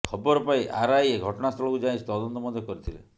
ଖବର ପାଇ ଆରଆଇ ଘଟଣା ସ୍ଥଳକୁ ଯାଇ ତଦନ୍ତ ମଧ୍ୟ କରିଥିଲେ